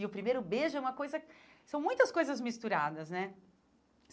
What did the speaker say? E o primeiro beijo é uma coisa... São muitas coisas misturadas, né?